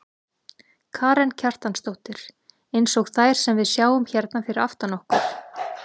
Karen Kjartansdóttir: Eins og þær sem við sjáum hérna fyrir aftan okkur?